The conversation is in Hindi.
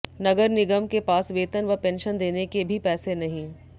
नगर निगम के पास वेतन व पेंशन देने के भी पैसे नहीं